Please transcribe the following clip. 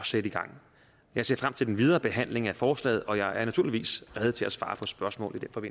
sætte i gang jeg ser frem til den videre behandling af forslaget og jeg er naturligvis rede til at svare på spørgsmål